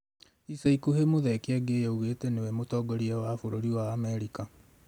ĩca ĩkũhĩ Muthee Kiengei augĩte nĩwe mũtongoria wa bũrũri wa Amerika